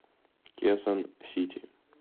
кесон сити